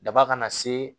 Daba kana se